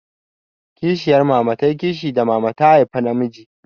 Kishiyar mama ta yi kishi da mama ta haifa namijin.